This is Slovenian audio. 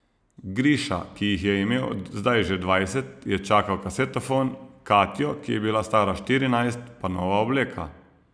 Griša, ki jih je imel zdaj že dvajset, je čakal kasetofon, Katjo, ki je bila stara štirinajst, pa nova obleka.